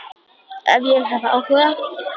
Ef ég hef áhuga?